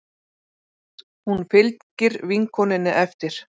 Hún fylgir vinkonunni eftir.